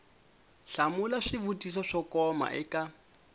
hlamula swivutiso swo koma eka